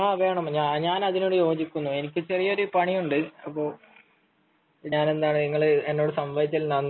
ആഹ് വേണം ഞാൻ അതിനോട് യോജിക്കുന്നു എനിക്ക് ചെറിയൊരു പണിയുണ്ട് .ഞാൻ എന്നാൽ നിങ്ങൾ എന്നോട് സംസാരിച്ചതിന് നന്ദി